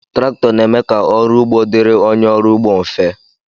Traktọ na-eme ka ọrụ ugbo dịri onye ọrụ ugbo mfe